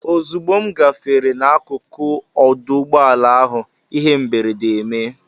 Ozugbo m gafere n'akụkụ ọdụ ụgbọala ahụ, ihe mberede emee.